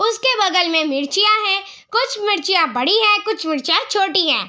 उसके बगल में मिर्चियां है कुछ मिर्चियां बड़ी है कुछ मिर्चियां छोटी है।